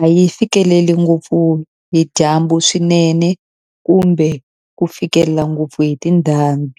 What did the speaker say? a yi fikeleli ngopfu hi dyambu swinene kumbe ku fikelela ngopfu hi tindhambi.